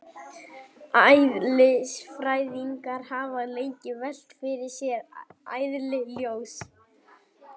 Eðlisfræðingar hafa lengi velt fyrir sér eðli ljóss.